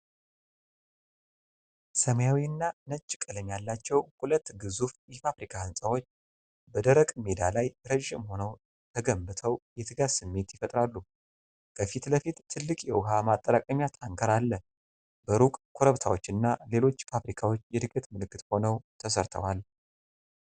ሰማያዊና ነጭ ቀለም ያላቸው ሁለት ግዙፍ የፋብሪካ ህንጻዎች በደረቅ ሜዳ ላይ ረጅም ሆነው ተገንብተው የትጋት ስሜት ይፈጥራሉ። ከፊት ለፊት ትልቅ የውሃ ማጠራቀሚያ ታንክር አለ፤ በሩቅ ኮረብታዎችና ሌሎች ፋብሪካዎች የዕድገት ምልክት ሆነው ተሰርተዋል።